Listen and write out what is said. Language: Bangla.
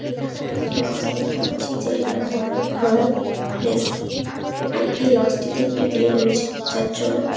এখানে আমরা একটি লজ দেখতে পাচ্ছি যেটার নাম হলো রয়েল প্লেস । এবং এই লজ -টি তে একটি বিয়ে রয়েছে যার জন্যে--